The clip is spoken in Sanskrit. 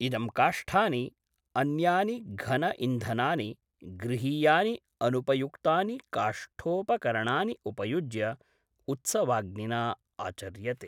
इदं काष्ठानि, अन्यानि घन इन्धनानि, गृहीयानि अनुपयुक्तानि काष्ठोपकरणानि उपयुज्य उत्सवाग्निना आचर्यते।